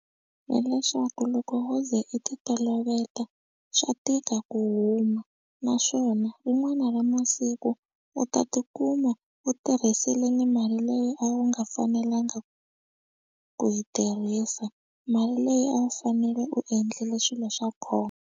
Hileswaku loko wo ze i ti toloveta swa tika ku huma naswona rin'wana ra masiku u ta tikuma u tirhisile ni mali leyi a wu nga fanelanga ku yi tirhisa, mali leyi a wu fanele u endlile swilo swa .